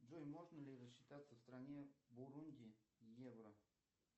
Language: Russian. джой можно ли рассчитаться в стране бурунди евро